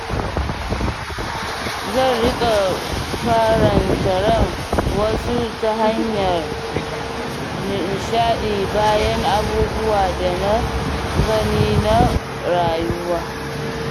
Zan riƙa faranta ran wasu ta hanyar nishaɗi bayan abubuwa da na gani na rayuwa.